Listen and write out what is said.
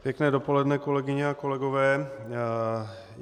Pěkné dopoledne, kolegyně a kolegové.